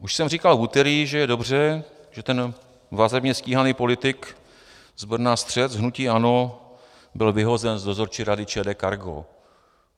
Už jsem říkal v úterý, že je dobře, že ten vazebně stíhaný politik z Brna, střelec hnutí ANO, byl vyhozen z dozorčí rady ČD Cargo.